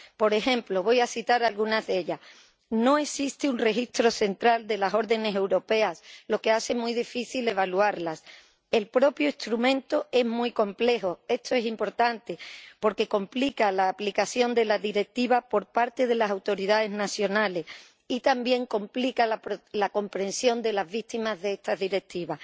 Por ejemplo voy a citar algunas de ellas no existe un registro central de las órdenes europeas, lo que hace muy difícil evaluarlas el propio instrumento es muy complejo esto es importante porque complica la aplicación de la Directiva por parte de las autoridades nacionales y también complica la comprensión de las víctimas de esta Directiva.